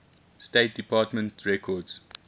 state department records